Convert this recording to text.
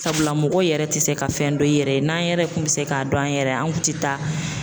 Sabula mɔgɔ yɛrɛ tɛ se ka fɛn dɔn i yɛrɛ ye n'an yɛrɛ kun bɛ se k'a dɔn an yɛrɛ ye an kun tɛ taa